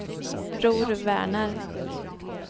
Bror Werner